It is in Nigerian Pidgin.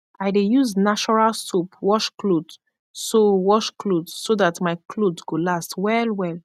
i dey yus nashoral soap wash kloth so wash kloth so dat mai kloth go last wellwell